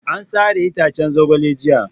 A sare itaccen zogalen jiya.